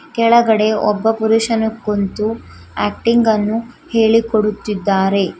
ಕೆಳಗಡೆ ಒಬ್ಬ ಪುರುಷನು ಕುಂತು ಆಕ್ಟಿಂಗ್ ಅನ್ನು ಹೇಳಿಕೊಡುತ್ತಿದ್ದಾರೆ.